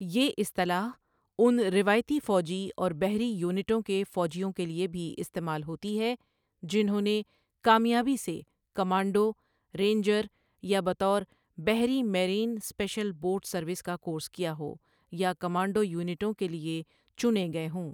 یہ اصطلاح ان روایتی فوجی اور بحری یونٹوں کے فوجیوں کیلئے بھی استعمال ہوتی ہے جنھوں نے کامیابی سے کمانڈو، رينجر یا بطور بحری میرین سپيشل بوٹ سروس کا کورس کیا ہو یا کمانڈو یونٹوں کے لیے چنے گئے ہوں۔